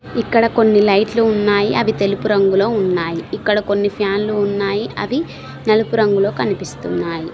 ఇక్కడ కొన్ని లైట్లు ఉన్నాయి అవి తెలుపు రంగులో ఉన్నాయి ఇక్కడ కొన్ని ఫ్యాన్లు ఉన్నాయి అవి నలుపు రంగులో కనిపిస్తున్నాయి.